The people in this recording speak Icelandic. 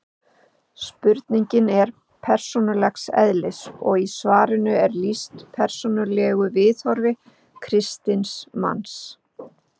spurningin er persónulegs eðlis og í svarinu er lýst persónulegu viðhorfi kristins manns